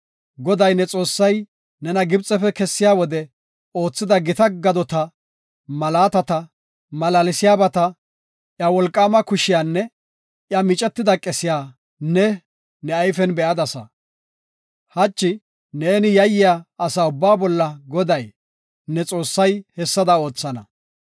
Goday, ne Xoossay nena Gibxefe kessiya wode oothida gita gadota, malaatata, malaalsiyabata, iya wolqaama kushiyanne iya micetida qesiya ne, ne ayfen be7adasa. Hachi ne yayiya asa ubbaa bolla Goday, ne Xoossay hessada oothana.